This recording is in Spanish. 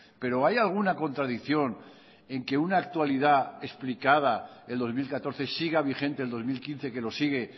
pero hay alguna contradicción en que una actualidad explicada el dos mil catorce siga vigente el dos mil quince que lo sigue